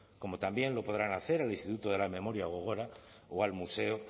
como también lo podrán hacer al instituto de la memoria gogora o al museo